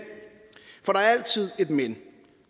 for altid et men